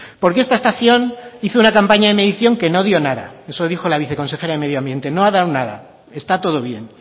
porque esta estación hizo una campaña de medición que no dio nada eso dijo la viceconsejera de medio ambiente no ha dado nada está todo bien